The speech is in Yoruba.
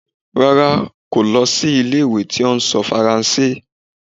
Rara, ko lọ si ile-iwe ti o sọ Faranse.